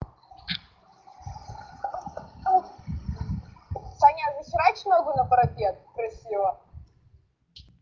саня а захерач ногу на парапет красиво